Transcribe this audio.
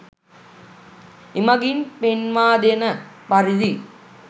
එමගින් පෙන්වා දෙන පරිදි